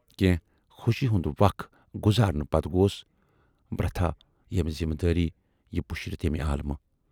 کینہہ خوشی ہُند وق گُذارنہٕ پتہٕ گوس برتھاہ یِمہٕ ذِمہٕ وٲرۍیہِ پُشرِتھ ییمہِ عالمہٕ۔